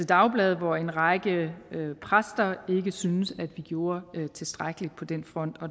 dagblad hvor en række præster ikke syntes at vi gjorde tilstrækkeligt på den front